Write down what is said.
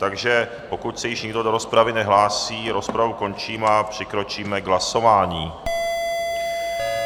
Takže pokud se již nikdo do rozpravy nehlásí, rozpravu končím a přikročíme k hlasování.